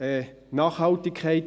«Nachhaltigkeit».